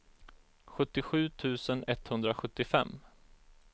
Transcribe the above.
sjuttiosju tusen etthundrasjuttiofem